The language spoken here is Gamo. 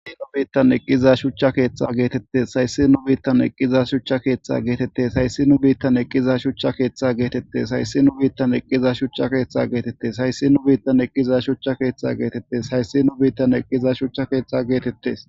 has nu biittan eqqiza shuchcha keeththa geetettes hayssi nu biittan eqqiza shuchcha keeththa geetettes hayssi nu biittan eqqiza shucha keeththa geetettes hayssi nu biittan eqqiza shucha keeththa geetettes hayssi nu biittan eqqiza shuchcha keeththa geetettes hayssi nu biittan eqqiza shuchcha keeththa geetettes